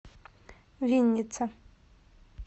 винница